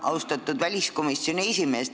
Austatud väliskomisjoni esimees!